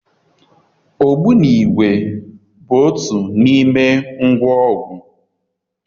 Ogbunigwe bụ otu n'ime ngwaọgụ.